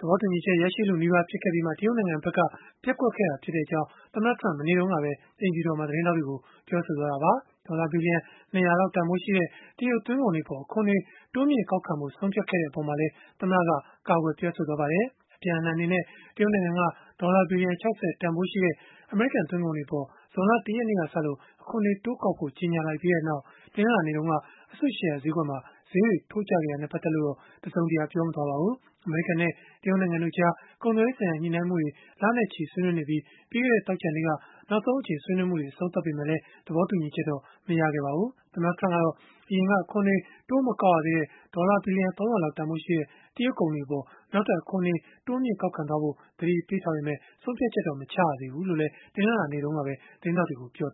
သဘောတူညီချက် ရရှိလုနီးပါး ဖြစ်ခဲ့ပြီးမှ တရုတ်နိုင်ငံဘက်က ပျက်ကွက်ခဲ့ကြောင်း သမ္မတ Trump က မနေ့တုန်းကပဲ အိမ်ဖြူတော်မှာ ပြောဆိုသွားတာပါ။ ဒေါ်လာ ဘီလီယံ ၂၀၀ တန်ဖိုးရှိတဲ့ တရုတ်သွင်းကုန်တွေအပေါ် အခွန်တွေ တိုးမြှင့်ကောက်ခံဖို့ ဆုံးဖြတ်ခဲ့တဲ့ အပေါ်မှာလည်း သမ္မတက ကာကွယ်ပြောဆိုသွားပါတယ်။ အပြန်အလှန်အနေနဲ့ တရုတ်နိုင်ငံက ဒေါ်လာဘီလီယံ ၆၀ တန်ဖိုးရှိတဲ့ အမေရိကန် သွင်းကုန်တွေအပေါ် ဇွန်လ ၁ ရက်နေ့ကစလို့ အခွန်တွေတိုးကောက်ဖို့ ကြေညာလိုက်ပြီးနောက် တနင်္လာနေ့တုန်းက အစုရှယ်ယာဈေးကွက်မှာ ဈေးတွေ ထိုးကျခဲ့တာနဲ့ ပတ်သက်လို့တော့ တစုံတရာ ပြောဆိုသွားတာ မရှိပါဘူး။ အမေရိကန်နဲ့ တရုတ်နိုင်ငံတို့ကြား ကုန်သွယ်ရေးဆိုင်ရာ ညှိနှိုင်းမှုတွေကို လနဲ့ချီဆွေးနွေးနေပြီး ပြီးခဲ့တဲ့ သောကြာနေ့က နောက်ဆုံးအကြိမ်ဆွေးနွေးမှု အဆုံးသတ်ခဲ့ပေမဲ့ သဘောတူညီချက်တော့ မရခဲ့ကြပါဘူး။ သမ္မတ Trump ကတော့ အရင်က အခွန်တွေ တိုးမကောက်ရသေးတဲ့ ဒေါ်လာဘီလီယံ ၃၀၀ လောက်တန်ဖိုးရှိတဲ့ တရုတ်ကုန်တွေအပေါ် နောက်ထပ် အခွန်တွေ တိုးမြှင့်ကောက်ခံသွားဖို့ သတိပေးထားပေမဲ့ ဆုံးဖြတ်ချက်တော့ မချရသေးဘူးလို့လည်း တနင်္လာနေ့တုန်းကပဲ သတင်းထောက်တွေကို ပြော